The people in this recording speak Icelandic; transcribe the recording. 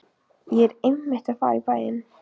Ég er einmitt að fara í bæinn.